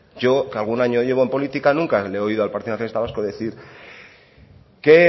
yo que algún año llevo en política nunca le he oído al partido nacionalista vasco decir que